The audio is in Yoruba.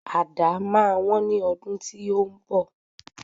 Àdá máa wón ní ọdún tí ó ń bọ̀.